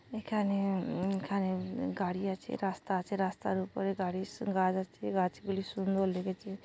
এখানে উম এখানে-এ গাড়ি আছে রাস্তা আছে রাস্তার উপরে গাড়ির স গাছ আছে গাছ গুলি সুন্দর লেগেছে।